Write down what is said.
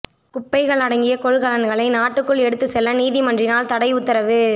குப்பைகள் அடங்கிய கொள்கலன்களை நாட்டுக்குள் எடுத்து செல்ல நீதிமன்றினால் தடை உத்தரவு